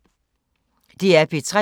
DR P3